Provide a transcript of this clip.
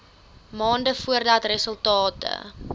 maande voordat resultate